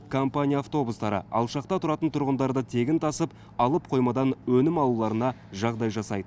компания автобустары алшақта тұратын тұрғындарды тегін тасып алып қоймадан өнім алуларына жағдай жасайды